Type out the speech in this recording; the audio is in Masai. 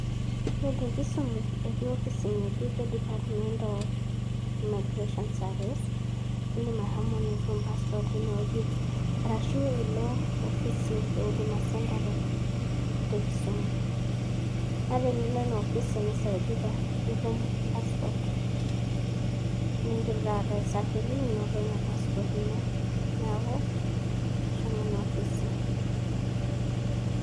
Ore te Kisumu etii opis ng'ejuk edipatment of immigration service eedim ashomo nitum paspot teine wueji arashu eelo opisi e eduma senta te Kisumu naa tenilo Ina opisi nesaidika nitum paspot, niidim taata aisafiri enoto Ina paspot ino, neeku shomo Ina opisi.